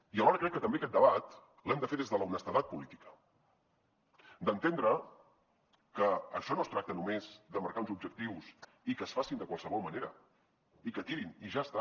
i alhora crec que també aquest debat l’hem de fer des de l’honestedat política d’entendre que això no es tracta només de marcar uns objectius i que es facin de qualsevol manera i que tirin i ja està